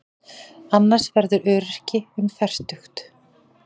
Annars verðurðu öryrki um fertugt.